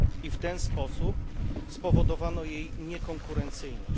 W ten sposób spowodowano jej niekonkurencyjność.